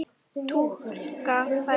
Túkall færðu!